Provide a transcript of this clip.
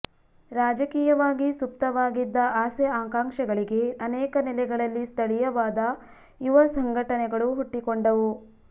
ರಾಜಕೀಯವಾಗಿ ಸುಪ್ತವಾಗಿದ್ದ ಆಸೆ ಆಕಾಂಕ್ಷೆಗಳಿಗೆ ಅನೇಕ ನೆಲೆಗಳಲ್ಲಿ ಸ್ಥಳೀಯವಾದ ಯುವ ಸಂಘಟನೆಗಳು ಹುಟ್ಟಿಕೊಂಡವು